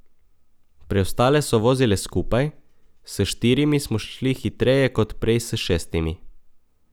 Preostale so vozile skupaj, s štirimi smo šli hitreje kot prej s šestimi.